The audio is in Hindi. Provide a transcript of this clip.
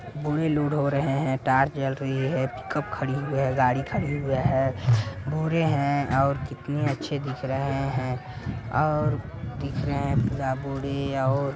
बोरे लोड हो रहे है टॉर्च जल रही है पिकअप खड़ी हुई है गाड़ी खड़ी हुई है बोरे हैंऔर कितना अच्छे दिख रहे हैं और दिख रहे हैं पूरा बोरे और --